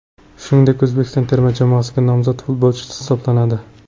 Shuningdek, O‘zbekiston terma jamoasiga nomzod futbolchi hisoblanadi.